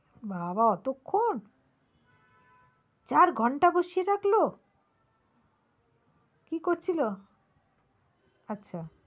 বাবা অতক্ষণ? চার ঘণ্টা বসিয়ে রাখলো? কী করছিলো? আচ্ছা।